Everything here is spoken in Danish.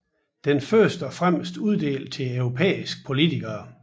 Den er først og fremmest uddelt til europæiske politikere